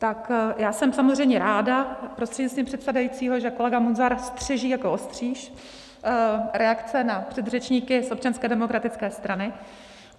Tak já jsem samozřejmě ráda prostřednictvím předsedajícího, že kolega Munzar střeží jako ostříž reakce na předřečníky z Občanské demokratické strany.